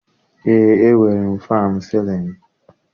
Eé, e nwere m fannụ sịlịnụ.